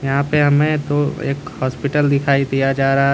यहाँ पे हमे ओ एक हॉस्पिटल दिखाई दिया जा रहा है।